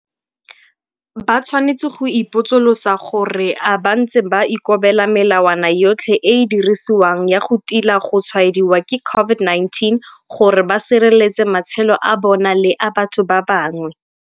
Ba tshwanetse go ipotsolotsa gore a bantse ba ikobela melawana yotlhe e e dirisiwang ya go tila go tshwaediwa ke COVID-19 gore ba sireletse matshelo a bona le a batho ba bangwe?